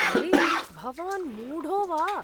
अरे! भवान् मूढो वा ?